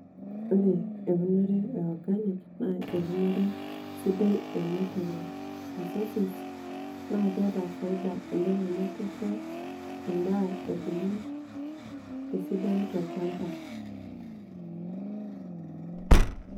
ore eunore e organic naa eunore sidaie natural resources ,naa keeta faida oleng amu kisho edaa ebulu esidai tolchampa.